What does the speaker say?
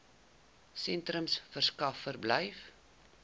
sentrums verskaf verblyf